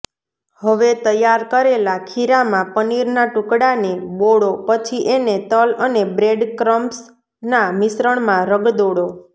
હવે તૈયાર કરેલા ખીરામાં પનીરના ટુકડાને બોળો પછી એને તલ અને બ્રેડક્રમ્સના મિશ્રણમાં રગદોળો